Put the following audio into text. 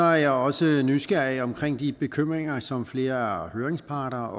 jeg også nysgerrig omkring de bekymringer som flere høringsparter